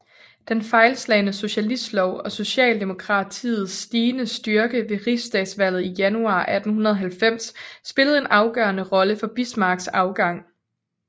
Den fejlslagne socialistlov og socialdemokratiets stigende styrke ved rigsdagsvalget i januar 1890 spillede en afgørende rolle for Bismarcks afgang